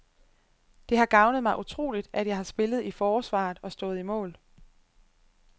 Det har gavnet mig utroligt, at jeg har spillet i forsvaret og stået i mål.